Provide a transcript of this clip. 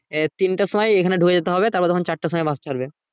এ তিনটের সময় এখানে ঢুকে যেতে হবে তারপর তখন চারটের সময় bus ছাড়বে